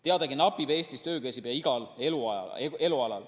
Teadagi napib Eestis töökäsi pea igal elualal.